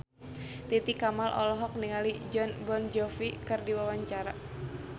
Titi Kamal olohok ningali Jon Bon Jovi keur diwawancara